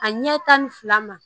A ɲɛ tan ni fila ma